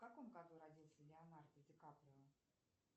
в каком году родился леонардо ди каприо